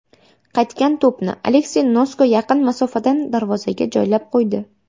Qaytgan to‘pni Aleksey Nosko yaqin masofadan darvozaga joylab qo‘ydi.